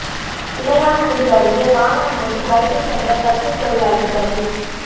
இளையான்குடி அருகே வாகனம் மோதி பைக்கில் சென்ற தச்சுத் தொழிலாளி பலி